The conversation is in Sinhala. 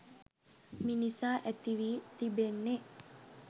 මිනිසා ඇතිවී තිබෙන්නෙ